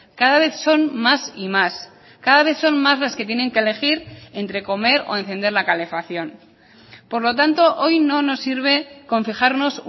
cada vez son más y más cada vez son más las que tienen que elegir entre comer o encender la calefacción por lo tanto hoy no nos sirve con fijarnos